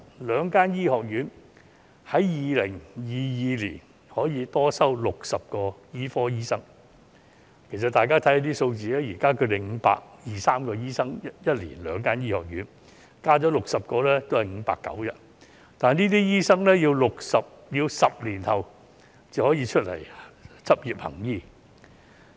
兩間醫學院在2022年可以多收60個醫科生，大家看看數字，現時兩間醫學院每年有520至530個醫科生學額，再加60個也只是590個，但這些醫科生要10年後才可以執業行醫。